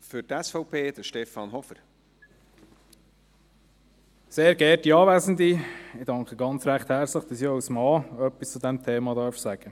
Ich danke recht herzlich, dass ich auch als Mann etwas zu diesem Thema sagen darf.